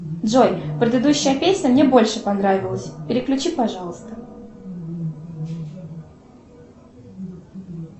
джой предыдущая песня мне больше понравилась переключи пожалуйста